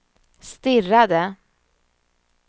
stirrade